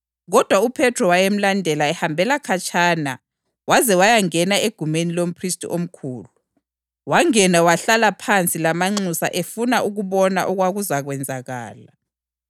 Kodwa uPhethro wayemlandela ehambela khatshana waze wayangena egumeni lomphristi omkhulu. Wangena wahlala phansi lamanxusa efuna ukubona okwakuzakwenzakala.